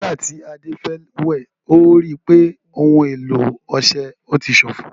Nígbà tí Ade fẹ́ wẹ̀, ó rí i pé ohun èlò ọṣẹ ti ṣófo